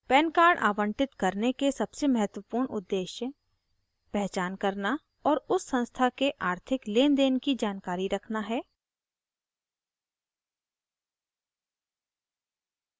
pan card आवंटित करने के सबसे महत्वपूर्ण उद्देश्य पहचान करना और उस संस्था के आर्थिक लेनदेन की जानकारी रखना है